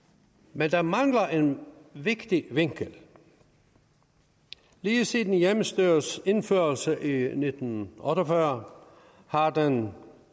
men der mangler en vigtig vinkel lige siden hjemmestyrets indførelse i nitten otte og fyrre har den